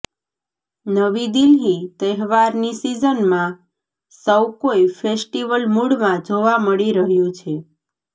નવી દિલ્હીઃ તહેવારની સિઝનમાં સૌકોઈ ફેસ્ટિવ મૂડમાં જોવા મળી રહ્યું છે